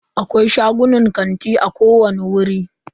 Akwai shagunan kanti a kowani wuri.